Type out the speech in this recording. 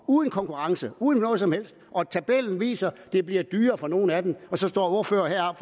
uden konkurrence uden noget som helst tabellen viser at det bliver dyrere for nogle af dem og så står ordføreren